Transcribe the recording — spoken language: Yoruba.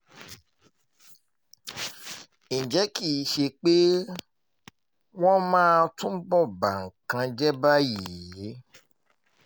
ǹjẹ́ kì í ṣe pé wọ́n máa túbọ̀ ba nǹkan jẹ́ báyìí